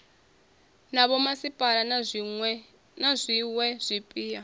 na vhomasipala na zwiwe zwipia